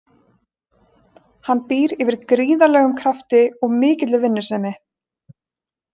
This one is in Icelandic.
Hann býr yfir gríðarlegum krafti og mikilli vinnusemi.